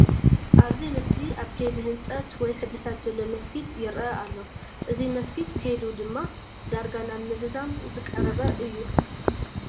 ኣብዚ ምስሊ ኣብ ከይዲ ህንፀት ወይ ሕድሳት ዘሎ መስጊድ ይርአ ኣሎ፡፡ እዚ መስጊድ ከይዱ ድማ ዳርጋ ናብ ምዝዛም ዝቐረበ እዩ፡፡